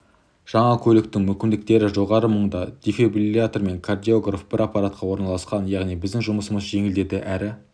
жаңа көліктің мүмкіндіктері жоғары мұнда дефлибрилиатор мен кардиограф бір аппаратта орналасқан яғни біздің жұмысымыз жеңілдеді әрі